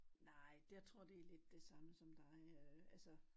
Nej det jeg tror det lidt det samme som dig øh altså